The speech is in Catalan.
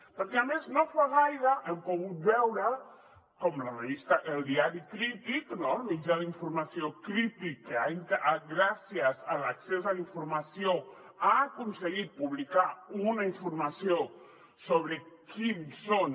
perquè a més no fa gaire hem pogut veure com el diari crític no el mitjà d’informació crític gràcies a l’accés a la informació ha aconseguit publicar una informació sobre quins són